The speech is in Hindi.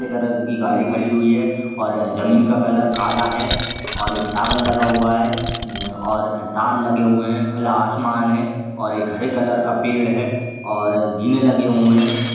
के कलर की गाड़ी खड़ी हुई है और जमीन का कलर काला है और एक टॉवर लगा हुआ है म्म और तार लगे हुए हैं। खुला आसमान है और एक हरे कलर का पेड़ है और झीने लगे हुए हैं।